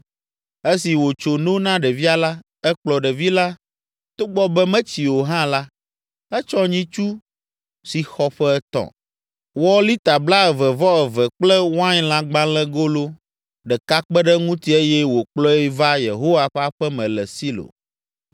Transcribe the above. Esi wòtso no na ɖevia la, ekplɔ ɖevi la, togbɔ be metsi o hã la, etsɔ nyitsu si xɔ ƒe etɔ̃, wɔ lita blaeve-vɔ-eve kple wainlãgbalẽgolo ɖeka kpe ɖe eŋuti eye wòkplɔe va Yehowa ƒe aƒe me le Silo.